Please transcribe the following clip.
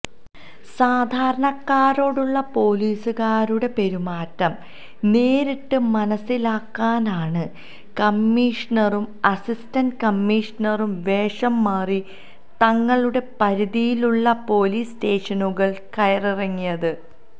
സാധാരണക്കാരോടുള്ള പൊലീസുകാരുടെ പെരുമാറ്റം നേരിട്ട് മനസിലാക്കാനാണ് കമ്മിഷണറും അസിസ്റ്റന്റ് കമ്മിഷണറും വേഷം മാറി തങ്ങളുടെ പരിധിയിലുള്ള പൊലീസ് സ്റ്റേഷനുകൾ കയറിയിറങ്ങിയത്